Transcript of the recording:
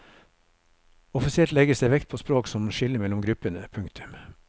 Offisielt legges det vekt på språk som skille mellom gruppene. punktum